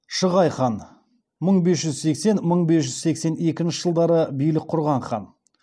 шығай хан мың бес жүз сексен мың бес жүз сексен екінші жылдары билік құрған хан